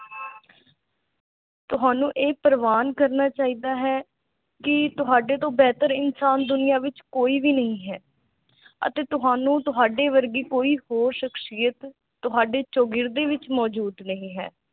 ਤੁਹਾਨੂੰ ਇਹ ਪ੍ਰਵਾਨ ਕਰਨਾ ਚਾਹੀਦਾ ਹੈ ਕਿ ਤੁਹਾਡੇ ਤੋਂ ਬੇਹਤਰ ਇਨਸਾਨ ਦੁਨੀਆ ਵਿਚ ਕੋਈ ਵੀ ਨਹੀਂ ਹੈ ਅਤੇ ਤੁਹਾਨੂੰ ਤੁਹਾਡੇ ਵਰਗੀ ਕੋਈ ਹੋਰ ਸ਼ਖ਼ਸੀਅਤ ਤੁਹਾਡੀ ਚੋਗਰੀਦੀ ਵਿਚ ਮੌਜ਼ੂਦ ਨਹੀਂ ਹੈ